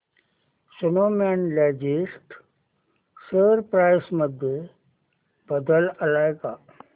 Snowman logistics share price मध्ये बदल आलाय का